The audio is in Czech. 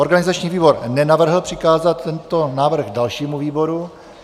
Organizační výbor nenavrhl přikázat tento návrh dalšímu výboru.